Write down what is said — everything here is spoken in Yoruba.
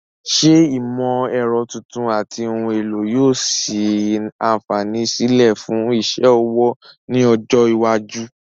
Ṣé ìmọ̀ ẹ̀rọ tuntun àti ohun èlò yóò sí àǹfààní sílẹ̀ fún iṣẹ́ ọwọ́ ní ọjọ́ iwájú?